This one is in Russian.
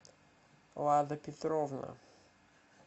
лада петровна